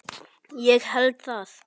Ég held það?